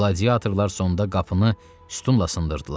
Qladiatorlar sonda qapını sütunla sındırdılar.